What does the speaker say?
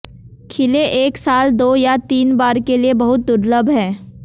खिले एक साल दो या तीन बार के लिए बहुत दुर्लभ है